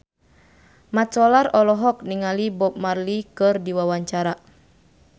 Mat Solar olohok ningali Bob Marley keur diwawancara